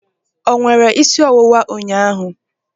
O nwere isi ọwụwa ụnyaahụ?